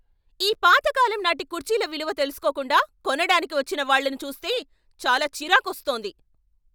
ఈ పాతకాలం నాటి కుర్చీల విలువ తెలుసుకోకుండా కొనడానికి వచ్చిన వాళ్ళను చూస్తే చాలా చిరాకొస్తోంది.